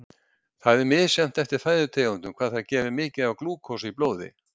Það er misjafnt eftir fæðutegundum hvað þær gefa mikið af glúkósa í blóði.